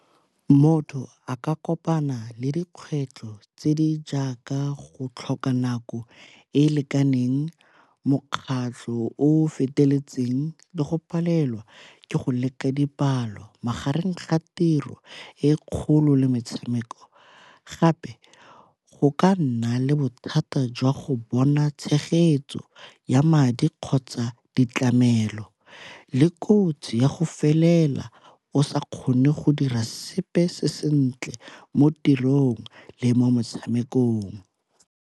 Motho a ka kopana le dikgwetlho tse di jaaka go tlhoka nako e e lekaneng, mokgatlho o feteletseng le go palelwa ke go leka dipalo magareng ga tiro e kgolo le metshameko. Gape go ka nna le bothata jwa go bona tshegetso ya madi kgotsa ditlamelo le kotsi ya go felela o sa kgone go dira sepe se sentle mo tirong le mo motshamekong.